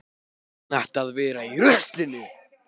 Þá datt mér í hug að benda á fangahúsið.